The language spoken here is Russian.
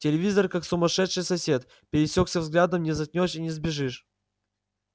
телевизор как сумасшедший сосед пересёкся взглядом не заткнёшь и не сбежишь